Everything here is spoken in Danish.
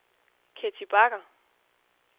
Ketty Bagger